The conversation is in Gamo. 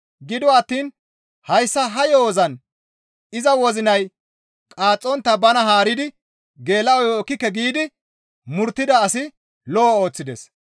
Gido attiin hayssa ha yo7ozan iza wozinay qaaxxontta bana haaridi geela7oyo ekkike giidi murttida asi lo7o ooththides.